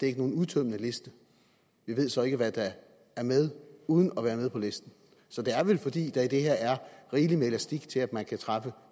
er nogen udtømmende liste vi ved så ikke hvad der er med uden at være med på listen så det er vel fordi der i det her er rigeligt med elastik til at man kan træffe